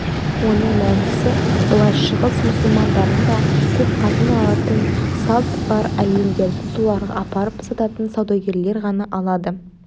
оның мәнісі былай шығыс мұсылмандарында көп қатын алатын салт бар әйелдерді соларға апарып сататын саудагерлер ғана алады